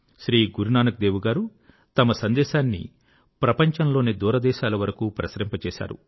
శ్రీ గురునానక్ దేవ్ గారు తమ సందేశాన్ని ప్రపంచంలోని దూరదేశాల వరకూ ప్రసరింపచేశారు